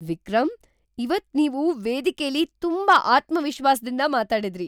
ವಿಕ್ರಮ್! ಇವತ್ ನೀವು ವೇದಿಕೆಲಿ ತುಂಬಾ ಆತ್ಮವಿಶ್ವಾಸ್ದಿಂದ ಮಾತಾಡಿದ್ರಿ!